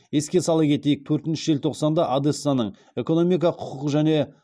еске сала кетейік төртінші желтоқсанда одессаның экономика құқық және